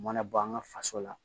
U mana bɔ an ka faso la